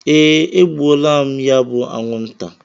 Ee, egbuola m ya bu anwụnta.